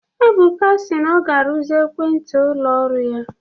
Ebuka si na ọ ga-arụzi ekwentị ụlọ ọrụ